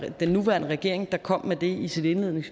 den nuværende regering der kom med det i sit indledende